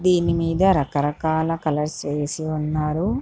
దీని మీద రకరకాల కలర్స్ వేసి ఉన్నారు.